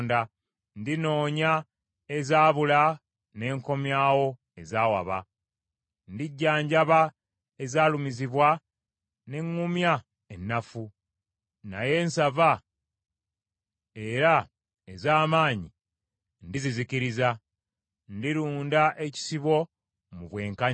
Ndinoonya ezaabula, ne nkomyawo ezaawaba. Ndigyanjaba ezaalumizibwa, ne ŋŋumya ennafu, naye ensava era ez’amaanyi ndizizikiriza. Ndirunda ekisibo mu bwenkanya.